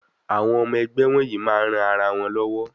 Àwọn ọmọ ẹgbẹ́ wonyìí máa ń ran ara wọn lowo.